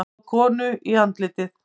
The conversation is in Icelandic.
Sló konu í andlitið